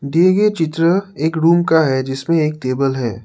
दिए गए चित्र एक रूम का है जिसमें एक टेबल है।